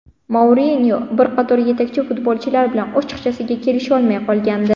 Mourinyo bir qator yetakchi futbolchilar bilan ochiqchasiga kelisholmay qolgandi.